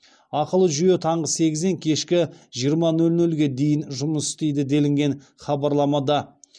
ақылы жүйе таңғы сегізден кешкі жиырма нөл нөлге дейін жұмыс істейді делінген хабарламада